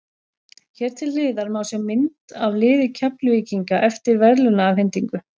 Hér til hliðar má sjá mynd af liði Keflvíkinga eftir verðlaunaafhendingu.